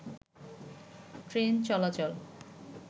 train চলাচল